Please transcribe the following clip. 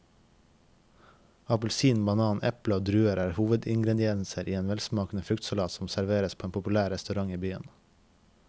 Appelsin, banan, eple og druer er hovedingredienser i en velsmakende fruktsalat som serveres på en populær restaurant i byen.